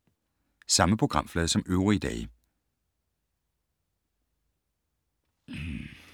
Samme programflade som øvrige dage